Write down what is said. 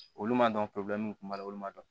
Olu ma dɔn kun b'a la olu ma dɔn